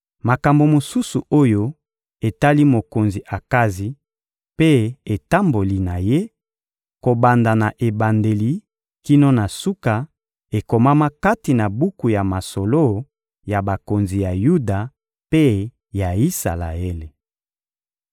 Makambo mosusu oyo etali mokonzi Akazi mpe etamboli na ye, kobanda na ebandeli kino na suka, ekomama kati na buku ya masolo ya bakonzi ya Yuda mpe ya Isalaele.